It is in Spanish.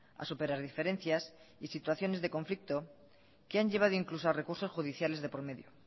a superar diferencias y situaciones de conflicto que han llevado incluso a recursos judiciales de por medio